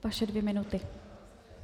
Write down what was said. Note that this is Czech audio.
Vaše dvě minuty.